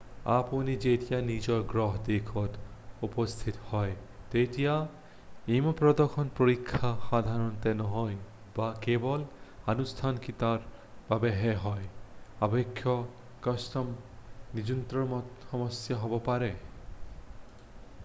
আপুনি যেতিয়া নিজৰ গৃহ দেশত উপস্থিত হয় তেতিয়া ইমিগ্ৰেশ্যন পৰীক্ষা সাধাৰণতে নহয় বা কেৱল আনুষ্ঠানিকতাৰ বাবেহে হয় অৱশ্যে কাষ্টম নিয়ন্ত্ৰণত সমস্যা হ'ব পাৰে